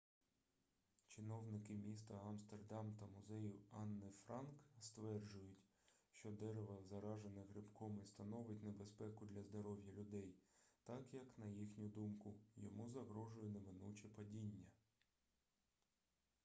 чиновники міста амстердам та музею анни франк стверджують що дерево заражене грибком і становить небезпеку для здоров'я людей так як на їхню думку йому загрожує неминуче падіння